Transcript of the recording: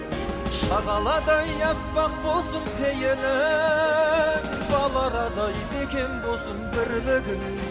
шағаладай аппақ болсын пейілің бал арадай бекем болсын бірлігің